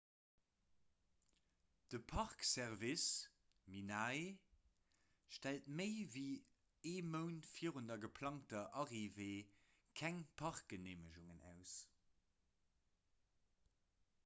de park service minae stellt méi ewéi ee mount virun der geplangter arrivée keng parkgeneemegungen aus